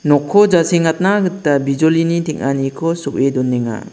nokko jasengatna gita bijolini teng·aniko so·e donenga.